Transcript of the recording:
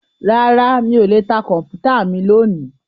Rárá mí ò lè ta Kọ̀m̀pútà mi lónìí